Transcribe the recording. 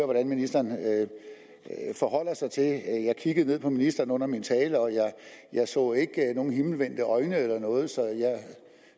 hvordan ministeren forholder sig til jeg kiggede ned på ministeren under min tale og jeg så ikke nogen himmelvendte øjne eller noget så jeg